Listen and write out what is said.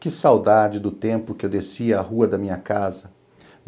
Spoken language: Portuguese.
Que saudade do tempo que eu descia a rua da minha casa.